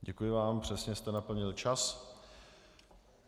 Děkuji vám, přesně jste naplnil čas.